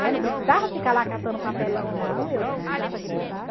Né? Não precisava ficar lá catando papelão, não, eu precisava gritar.